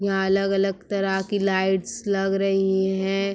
यहां अलग-अलग तरह की लाइट्स लग रही है|